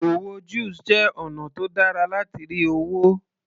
Òwò juice jẹ́ ọ̀nà tó dára láti rí owó